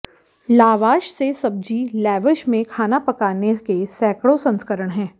lavash से सब्जी lavash में खाना पकाने के सैकड़ों संस्करण हैं